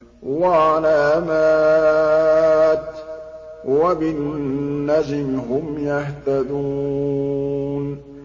وَعَلَامَاتٍ ۚ وَبِالنَّجْمِ هُمْ يَهْتَدُونَ